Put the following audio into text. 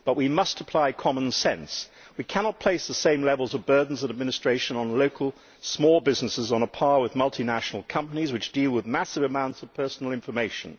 But we must apply common sense. We cannot place the same level of administrative burdens on local, small businesses as on multinational companies which deal with massive amounts of personal information.